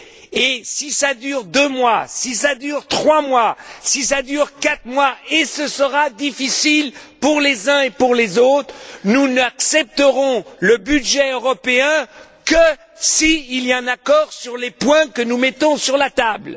Et même si cela dure deux mois, si cela dure trois mois, si cela dure quatre mois et ce sera difficile pour les uns et pour les autres nous n'accepterons le budget européen que s'il y a un accord sur les points que nous mettons sur la table.